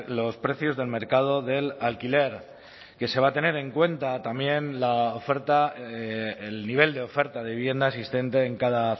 los precios del mercado del alquiler que se va a tener en cuenta también la oferta el nivel de oferta de vivienda existente en cada